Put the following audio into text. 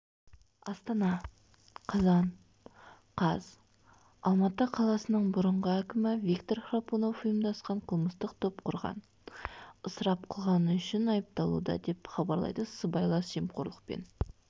астана қазан қаз алматы қаласының бұрынғы әкімі виктор храпунов ұйымдасқан қылмыстық топ құрған ысырап қылғаны үшін айыпталуда деп хабарлайды сыбайлас жемқорлықпен